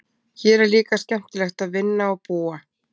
Hér er líka skemmtilegt að vinna og búa.